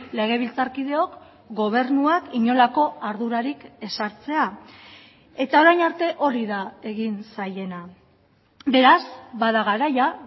legebiltzarkideok gobernuak inolako ardurarik ez hartzea eta orain arte hori da egin zaiena beraz bada garaia